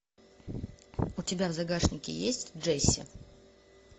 у тебя в загашнике есть джесси